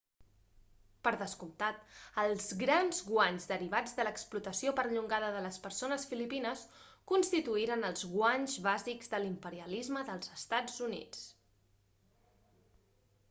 per descomptat els grans guanys derivats de l'explotació perllongada de les persones filipines constituirien els guanys bàsics de l'imperialisme dels estats units